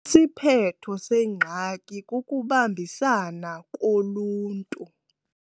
Isiphetho sengxaki kukubambisana koluntu.